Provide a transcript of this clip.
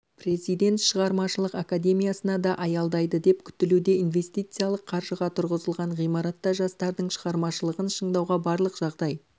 президент шығармашылық академиясына да аялдайды деп күтілуде инвестициялық қаржыға тұрғызылған ғимаратта жастардың шығармашылығын шыңдауға барлық жағдай